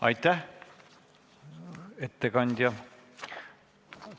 Aitäh, ettekandja!